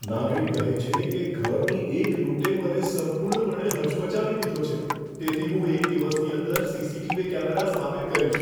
નાગરિક કહે છે કે, ઘરની એક લૂંટે મને સંપૂર્ણપણે હચમચાવી દીધો છે, તેથી હું એક દિવસની અંદર સીસીટીવી કેમેરા સ્થાપિત કરીશ.